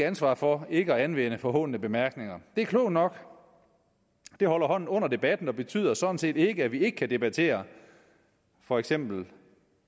ansvar for ikke at anvende forhånende bemærkninger det er klogt nok det holder hånden under debatten og betyder sådan set ikke at vi ikke kan debattere for eksempel